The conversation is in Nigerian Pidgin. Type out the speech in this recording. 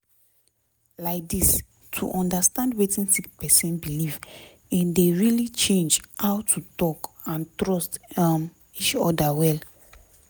laidis to understand wetin sick person belief in dey really change how to talk and trust um each oda well